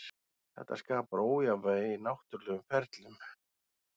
Þetta skapar ójafnvægi í náttúrulegum ferlum.